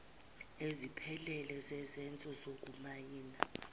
eziphelele zezenzo zokumayina